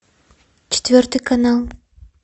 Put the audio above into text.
четвертый канал